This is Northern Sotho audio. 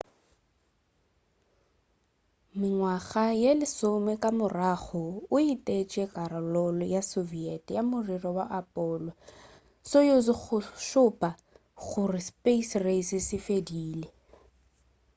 mengwaga ye lesome ka morago o etetše karolo ya soviet ya morero wa apollo-soyuz go šupa gore space race se fedile